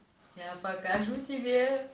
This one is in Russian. я покажу тебе